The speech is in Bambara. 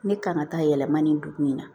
Ne kan ka taa yɛlɛma nin dugu in na